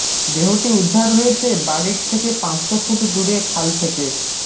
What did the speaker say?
দেহটি উদ্ধার হয়েছে বাড়ির থেকে পাঁচশো ফুট দূরে খাল থেকে